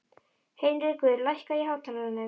Heinrekur, lækkaðu í hátalaranum.